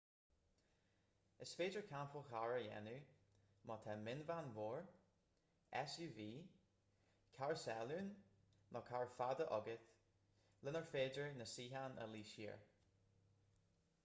is féidir campáil chairr a dhéanamh má tá mionveain mhór suv carr salúin nó carr fada agat lenar féidir na suíocháin a luí siar